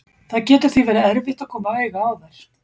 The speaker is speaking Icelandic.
Það getur því verið erfitt að koma auga á þær.